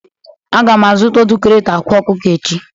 A ga m azụta otu krati akwa ọkụkọ echi.